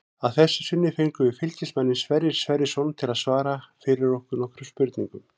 Að þessu sinni fengum við Fylkismanninn Sverrir Sverrisson til að svara fyrir okkur nokkrum spurningum.